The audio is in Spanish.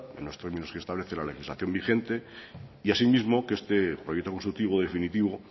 en los términos que establece la legislación vigente asimismo que este proyecto constructivo definitivo